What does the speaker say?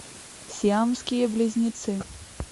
сиамские близнецы